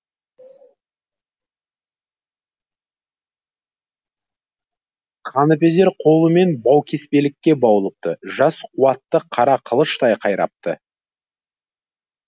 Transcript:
қаныпезер қолымен баукеспелікке баулыпты жас қуатты қара қылыштай қайрапты